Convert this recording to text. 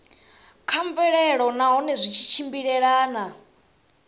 kha mvelelo nahone zwi tshimbilelana